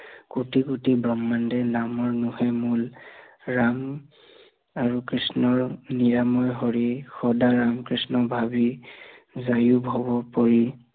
কৌটি কৌটি ব্ৰক্ষ্মাণ্ডে নামৰ মোহে মূল, ৰাম আৰু কৃষ্ণৰ নিৰাময় হৰি, সদা কৃষ্ণক ভাবি যায়ো ভৱ পৰি